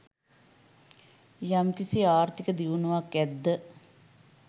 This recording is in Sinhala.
යම්කිසි ආර්ථික දියුණුවක් ඇද්ද